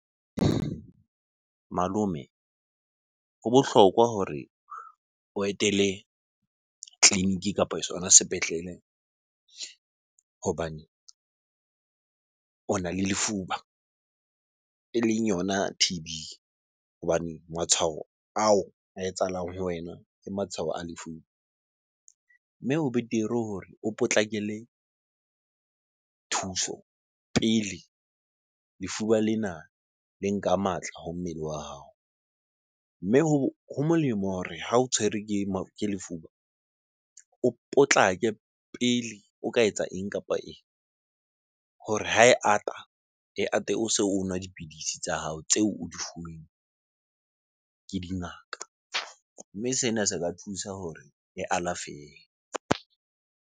Malome ho bohlokwa hore o etele tleliniki kapo sona sepetlele hobane ona le lefuba eleng yona T_B. Hobane matshwao ao a etsahalang ho wena, ke matshwao a . Mme o betere hore o potlakele thuso pele lefuba lena le nka matla ho mmele wa hao. Mme ho molemo hore ha o tshwerwe ke sefuba o potlake pele o ka etsa eng kapa eng hore ha e ata, e ate o se o nwa dipidisi tsa hao tseo o di fuweng ke dingaka. Mme sena se ka thusa hore e alafehe.